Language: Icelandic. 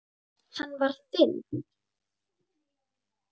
Hann var þinn.